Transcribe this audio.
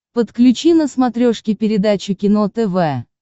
подключи на смотрешке передачу кино тв